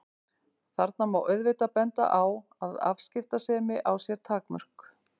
Þarna má auðvitað benda á að afskiptasemi á sér takmörk.